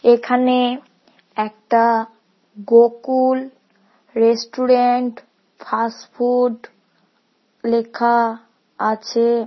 এখানে একটা Gokul restaurant fast food লেখা আছে।